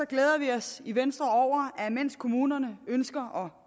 os i venstre over at mens kommunerne ønsker